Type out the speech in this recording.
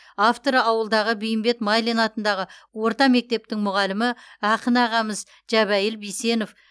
авторы ауылдағы бейімбет майлин атындағы орта мектептің мүғалімі ақын ағамыз жәбәйіл бейсенов